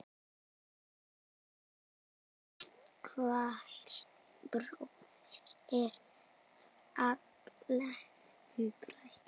Ástkær bróðir er fallinn frá.